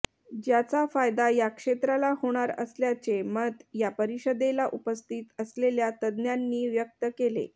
ज्याचा फायदा या क्षेत्राला होणार असल्याचे मत या परिषदेला उपस्थित असलेल्या तज्ज्ञांनी व्यक्त केले